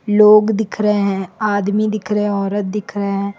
लोग दिख रहे हैं आदमी दिख रहे हैं औरत दिख रहे हैं।